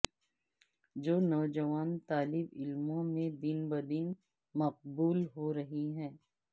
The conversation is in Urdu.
جو نوجوان طالبعلموں میں دن بدن مقبول ہو رہی ہے